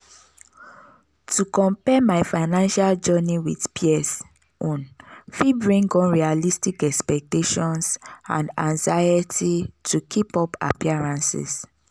to compare my financial journey with peers own fit bring unrealistic expectations and anxiety to keep up appearances.